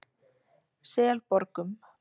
Selborgum